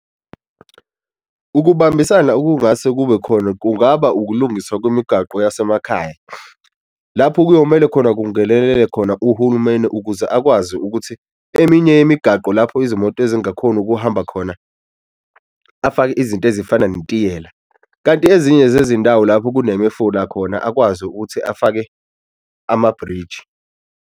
Ukubambisana okungase kube khona kungaba ukulungiswa kwemigaqo yasemakhaya, lapho kuyomele khona kungenelele khona uhulumeni ukuze akwazi ukuthi eminye imigaqo lapho izimoto ezingakhoni ukuhamba khona afake izinto ezifana netiyela. Kanti ezinye zezindawo lapho kunemifula khona akwazi ukuthi afake amabriji.